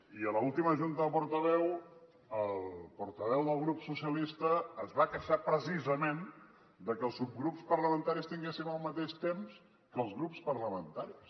i a l’última junta de portaveus el portaveu del grup socialista es va queixar precisament que els subgrups parlamentaris tinguéssim el mateix temps que els grups parlamentaris